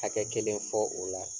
Hakɛ kelen fɔ o la,